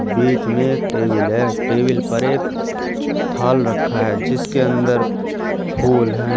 बीच में एक टेबिल है टेबिल पर एक थाल रखा है जिसके अंदर फूल हैं।